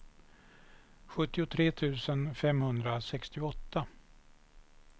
sjuttiotre tusen femhundrasextioåtta